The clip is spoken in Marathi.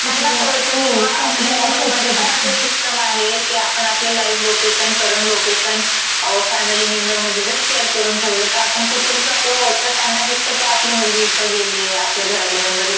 तिथलं, हो, समजायला सोपं जातं. हम्म. त्यांना कळतं किंवा आपल्या मोबाइलमधेपण अशा सिस्टम आहे की आपण आपलं live location, current location family मेंबरमधे जर शेयर करून ठेवलं तं आपण कुठेही जर असो तर त्यांना दिसतं की आपली मुलगी इथं गेलीये, आपल्या घरातला मेंबर इथं